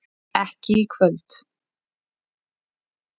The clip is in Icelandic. ekki í kvöld.